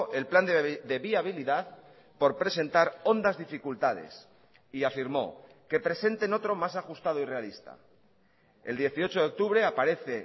el plan de viabilidad por presentar hondas dificultades y afirmó que presenten otro más ajustado y realista el dieciocho de octubre aparece